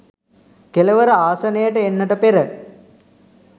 කෙළවර ආසනයට එන්නට පෙර